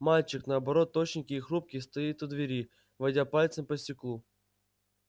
мальчик наоборот тощенький и хрупкий стоит у двери водя пальцем по стеклу